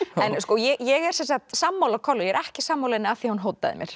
ég er sammála kollu ég er ekki sammála henni af því hún hótaði mér